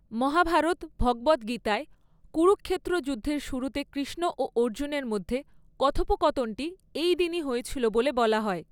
মহাভারত, ভগবদ্ গীতায়, কুরুক্ষেত্র যুদ্ধের শুরুতে কৃষ্ণ ও অর্জুনের মধ্যে কথোপকথনটি এই দিনই হয়েছিল বলে বলা হয়।